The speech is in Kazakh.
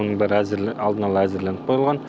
оның бәрі алдын ала әзірленіп қойылған